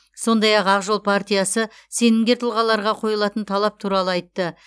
сондай ақ ақ жол партиясы сенімгер тұлғаларға қойылатын талап туралы айтты